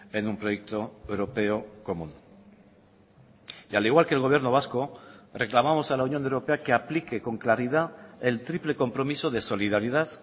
en un proyecto europeo común y al igual que el gobierno vasco reclamamos a la unión europea que aplique con claridad el triple compromiso de solidaridad